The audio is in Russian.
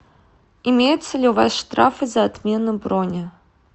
имеются ли у вас штрафы за отмену брони